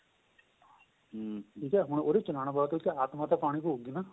ਠੀਕ ਏ ਉਹਦੇ ਚ ਵਾਸਤੇ ਉਹਦੇ ਚ ਆਤਮਾਂ ਤਾਂ ਪਾਣੀ ਪਹੁਗੀ ਨਾ